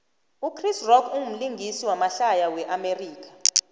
uchris rock umlingisi wamahlaya we amerika